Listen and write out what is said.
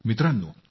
मित्रांनो